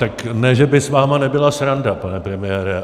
Tak ne že by s vámi nebyla sranda, pane premiére.